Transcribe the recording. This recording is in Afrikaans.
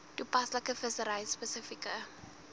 toepaslike vissery spesifieke